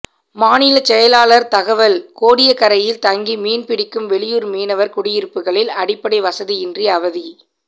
மாநில செயலாளர் தகவல் கோடியக்கரையில் தங்கி மீன்பிடிக்கும் வெளியூர் மீனவர் குடியிருப்புகளில் அடிப்படை வசதியின்றி அவதி